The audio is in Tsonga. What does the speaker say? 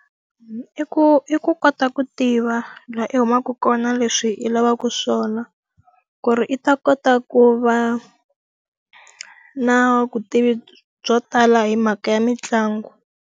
I ku i ku kota ku tiva laha u humaka kona na leswi i lavaka swona, ku ri i ta kota ku va na vutivi byo tala hi mhaka ya mitlangu.